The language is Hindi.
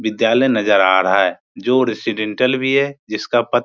विद्यालय नजर आ रहा है जो रेजिडेंशियल भी है जिसका पट --